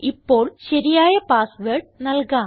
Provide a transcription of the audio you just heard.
ഇപ്പോൾ ശരിയായ password നല്കാം